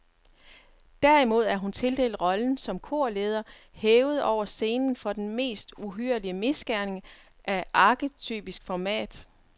Derimod er hun tildelt rollen som korleder, hævet over scenen for den mest uhyrlige misgerning af arketypisk format.